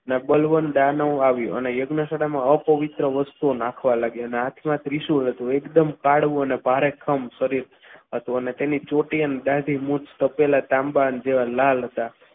ને બલવંતાનો આવ્યો અને યજ્ઞશાળામાં અ પવિત્ર વસ્તુઓ નાખવા લાગ્યા અને હાથમાં ત્રિશૂળ હતું એકદમ તાડવું અને ભારેખમ શરીર હતું અને એની ચોટી આમ દાઢી મુછ તો તાંબા જેવા લાલ હતા.